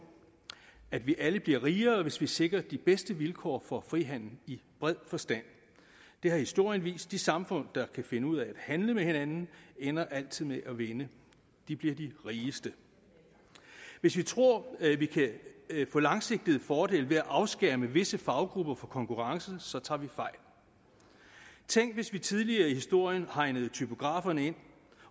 at vi alle bliver rigere hvis vi sikrer de bedste vilkår for frihandel i bred forstand det har historien vist de samfund der kan finde ud af at handle med hinanden ender altid med at vinde de bliver de rigeste hvis vi tror at vi kan få langsigtede fordele ved at afskærme visse faggrupper fra konkurrence så tager vi fejl tænk hvis vi tidligere i historien havde hegnet typograferne ind